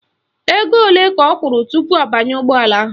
Ego ole ka ọ kwụrụ tupu ọ banye ụgbọala ahụ?